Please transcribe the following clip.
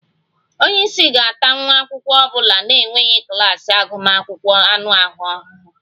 Onye isi ga-ata nwa akwụkwọ ọ bụla na-enweghị klas agụmakwụkwọ anụ ahụ ahụhụ